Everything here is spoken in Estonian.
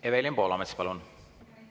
Evelin Poolamets, palun!